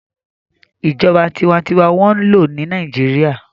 Ìjọba tinwatinwa n wọ́n lò ní Nàìjíríyà